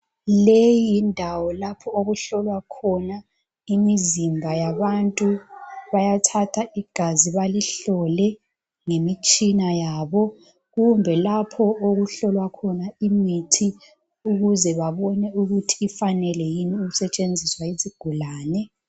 Le yindawo lapho okuhlolwa khona imizimba yabantu. Bayathatha igazi balihlole ngemitshina yabo, kumbe lapho okuhlolwa khona imithi ukuze babone ukuthi ifanele yini ukusetshenziswa yizigulane.